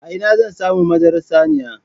A ina zan samu madarar saniya?